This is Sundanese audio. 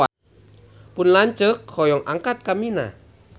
Pun lanceuk hoyong angkat ka Mina